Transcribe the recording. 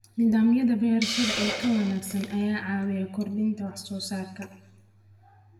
Nidaamyada beerashada ee ka wanaagsan ayaa caawiya kordhinta wax soo saarka.